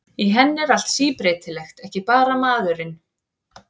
Í henni er allt síbreytilegt, ekki bara maðurinn.